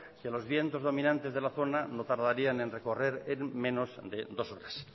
que los vientos dominantes de la zona no tardarían en recorrer en menos de dos horas